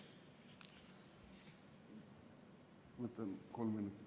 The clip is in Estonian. Ma võtan kolm minutit.